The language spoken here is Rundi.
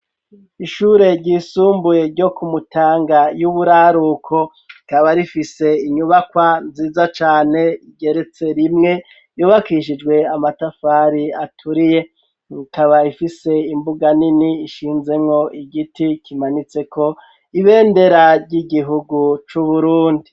Ishure ryisumbuye ryo kumutanga y'uburaruko rikaba rifise inyubakwa nziza cane igeretse rimwe yubakishijwe amatafari aturiye ikaba ifise imbuga nini ishinzenko igiti kimanitseko ibendera ry'igihugu c'uburundi.